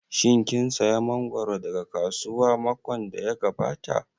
Shin kin saya mangoro daga kasuwa makon da ya gabata?